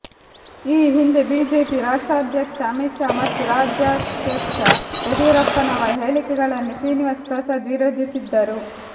ಈ ಹಿಂದೆ ಬಿಜೆಪಿ ರಾಷ್ಟ್ರಾಧ್ಯಕ್ಷ ಅಮಿತಾ ಶಾ ಮತ್ತು ರಾಜ್ಯಾಧ್ಯಕ್ಷ ಯಡಿಯೂರಪ್ಪನವರ ಹೇಳಿಕೆಗಳನ್ನು ಶ್ರೀನಿವಾಸ್ ಪ್ರಸಾದ್ ವಿರೋಧಿಸಿದ್ದರು